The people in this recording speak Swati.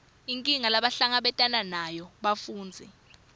inkinga lebahlangabetana nayo bafundzi